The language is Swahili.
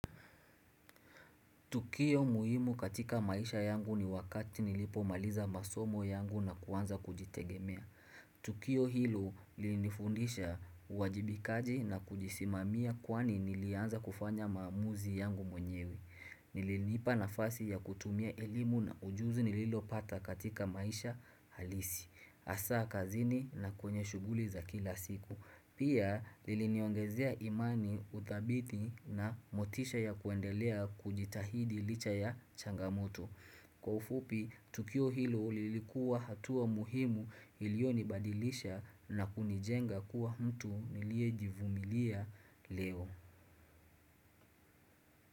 Tukio muhimu katika maisha yangu ni wakati nilipomaliza masomo yangu na kuanza kujitegemea. Tukio hilo lilinifundisha uwajibikaji na kujisimamia kwani nilianza kufanya maamuzi yangu mwenyewe. Ilinipa nafasi ya kutumia elimu na ujuzi nililopata katika maisha halisi. Hasa kazini na kwenye shughuli za kila siku. Pia liliniongezea imani udhabiti na motisha ya kuendelea kujitahidi licha ya changamoto. Kwa ufupi, tukio hilo lilikuwa hatua muhimu ilionibadilisha na kunijenga kuwa mtu niliejivumilia leo.